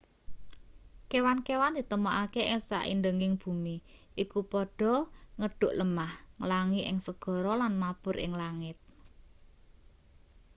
kewan-kewan ditemokake ing saindeging bumi iku padha ngedhuk lemah nglangi ing segara lan mabur ing langit